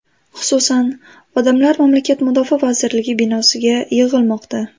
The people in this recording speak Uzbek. Xususan, odamlar mamlakat Mudofaa vazirligi binosiga yig‘ilmoqda.